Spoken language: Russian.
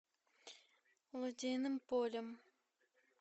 лодейным полем